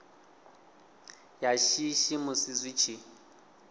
ya shishi musi zwi tshi